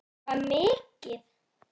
Hvað mikið?